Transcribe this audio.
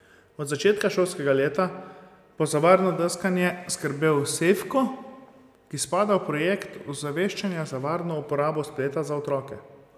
Od začetka šolskega leta bo za varno deskanje skrbel Sejfko, ki spada v projekt osveščanja za varno uporabo spleta za otroke.